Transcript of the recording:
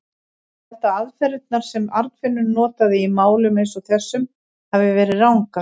Ég held að aðferðirnar, sem Arnfinnur notaði í málum eins og þessum, hafi verið rangar.